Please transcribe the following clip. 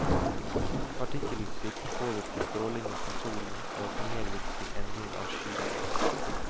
Partikkelutslipp påvirker strålingen fra solen, og kan medvirke til endring av skydannelsen.